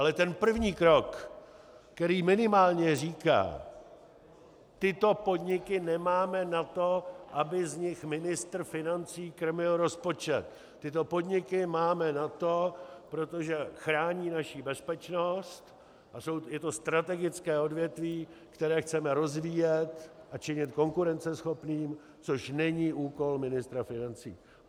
Ale ten první krok, který minimálně říká: Tyto podniky nemáme na to, aby z nich ministr financí krmil rozpočet, tyto podniky máme na to, protože chrání naši bezpečnost a je to strategické odvětví, které chceme rozvíjet a činit konkurenceschopným, což není úkol ministra financí.